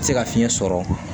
Se ka fiɲɛ sɔrɔ